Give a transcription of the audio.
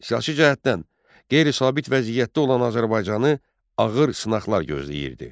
Siyasi cəhətdən qeyri-sabit vəziyyətdə olan Azərbaycanı ağır sınaqlar gözləyirdi.